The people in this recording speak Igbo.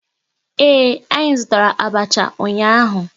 Ee, anyị zụtara abacha ụnyaahụ